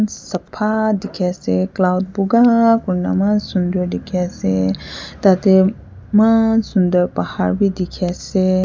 sapah dikhiase cloud buka kurina maan sundur dikhiase tatey maan sundur bahar bi dikhiase.